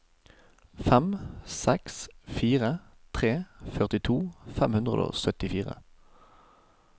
fem seks fire tre førtito fem hundre og syttifire